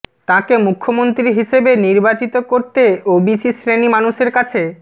তাঁকে মুখ্যমন্ত্রী হিসেবে নির্বাচিত করতে ওবিসি শ্রেণী মানুষের কাছে